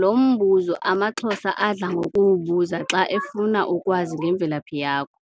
lombuzo amaXhosa adla ngokuwubuza xa efuna ukwazi ngemvelaphi yakho,